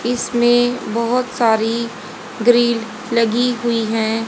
इसमें बहुत सारी ग्रिल लगी हुई हैं।